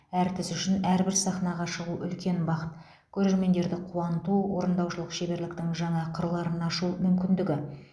әртіс үшін әрбір сахнаға шығу үлкен бақыт көрермендерді қуанту орындаушылық шеберліктің жаңа қырларын ашу мүмкіндігі